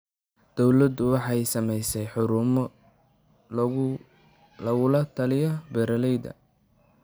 Dawladdu waxay samaysay xarumo lagula taliyay beeralayda.